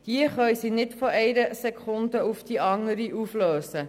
Diese können sie nicht von einer Sekunde zur nächsten auflösen.